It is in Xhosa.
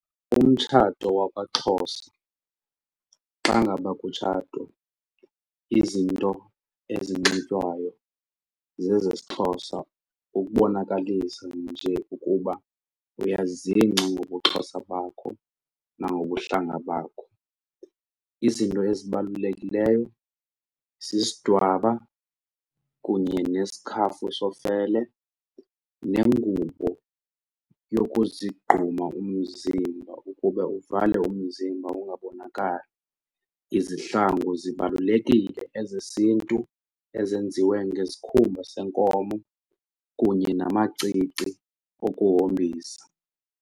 Umtshato wakwaXhosa xa ngaba kutshatwa izinto ezinxitywayo zezesiXhosa ukubonakalisa nje ukuba uyazingca ngobuXhosa bakho nangobuhlanga bakho. Izinto ezibalulekileyo sisidwaba kunye nesikhafu sofele nengubo yokuzigquma umzimba ukuba uvale umzimba ungabonakali, izihlangu zibalulekile ezesiNtu ezenziwe ngezikhumba senkomo kunye namacici okuhombisa.